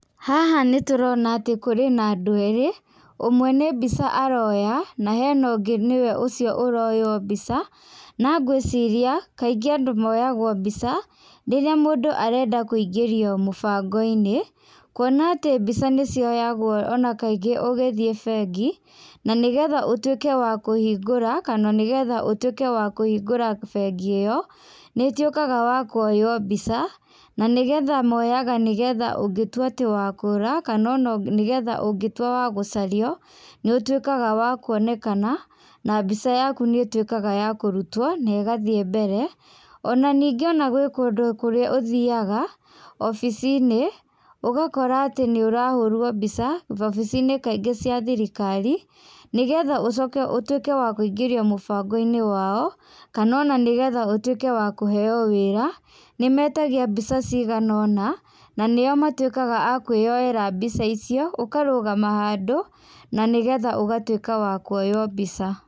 Haha nĩtũrona atĩ kũrĩ na andũ erĩ , ũmwe nĩ mbica aroya na hena ũngĩ ũcio oronywo mbica, na ngwĩricia kaingĩ angĩ moyagwo mbica, rĩrĩa mũndũ arenda kũingĩrio mũbango-inĩ, kuona atĩ mbica nĩcioyagwo ona kangĩ ũgĩthĩe mbengi , na nĩgetha utwĩke wa kũhingũra kana ũtwĩke wa kũhingũra mbengĩ ĩyo , nĩ ũtwĩkaga wa kuoywo mbica na nĩgetha moyaga nĩgetha ũngĩtwĩka atĩ wa kũũra kana ona nĩgetha ũngĩtwĩka wa gũcario nĩ ũtwĩkaga wa kuonekana, na mbica yaku nĩ ĩtwĩkaga ya kũrũtwo na ĩgathie mbere, ona ninge ona gwĩ kũndũ kũrĩa ũthiaga obici-inĩ, ũgakora atĩ nĩ ũrahũrwo mbica, obici-inĩ kaingĩ cia thirikari, nĩgetha ũcoke wa gũtwĩke kũingĩrio mũbango-inĩ wao kana ona nĩgetha ũtwĩke wa kũheo wĩra, nĩmetagia mbica cigana ona na nĩo matwĩkaga akwĩyoera mbica icĩo ũkarũgama handũ na nĩgetha ũgatwĩka wakuonywo mbica.